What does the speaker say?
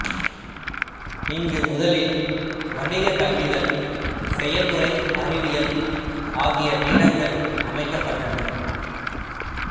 இங்கு முதலில் வணிகக் கல்விகள் செயல்முறை அறிவியல் ஆகிய பீடங்கள் அமைக்கப்பட்டன